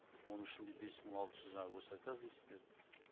оның ішінде бес мың алты жүз жаңа госзаказ дейсіздер